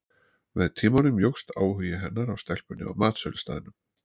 Með tímanum jókst áhugi hennar á stelpunni á matsölustaðnum.